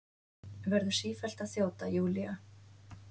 Verður sífellt að þjóta, Júlía.